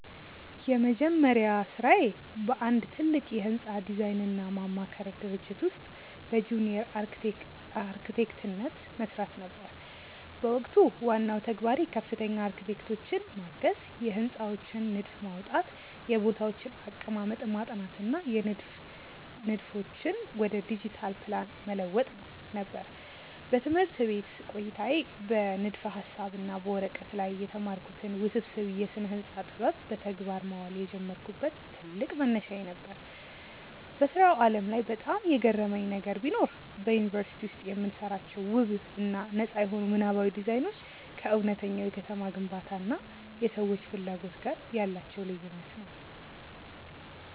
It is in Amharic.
የመጀመሪያ ሥራዬ በአንድ ትልቅ የሕንፃ ዲዛይንና ማማከር ድርጅት ውስጥ በጁኒየር አርክቴክትነት መሥራት ነበር። በወቅቱ ዋናው ተግባሬ ከፍተኛ አርክቴክቶችን ማገዝ፣ የሕንፃዎችን ንድፍ ማውጣት፣ የቦታዎችን አቀማመጥ ማጥናት እና የንድፍ ንድፎችን ወደ ዲጂታል ፕላን መለወጥ ነበር። በትምህርት ቤት ቆይታዬ በንድፈ-ሐሳብ እና በወረቀት ላይ የተማርኩትን ውስብስብ የስነ-ህንፃ ጥበብ በተግባር ማዋል የጀመርኩበት ትልቅ መነሻዬ ነበር። በሥራው ዓለም ላይ በጣም የገረመኝ ነገር ቢኖር፣ በዩኒቨርሲቲ ውስጥ የምንሰራቸው ውብ እና ነጻ የሆኑ ምናባዊ ዲዛይኖች ከእውነተኛው የከተማ ግንባታ እና የሰዎች ፍላጎት ጋር ያላቸው ልዩነት ነው።